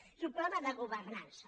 és un problema de governança